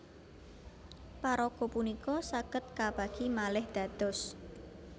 Paraga punika saged kabagi malih dados